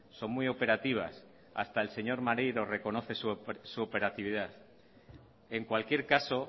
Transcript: son muy operativas hasta el señor maneiro reconoce su operatividad en cualquier caso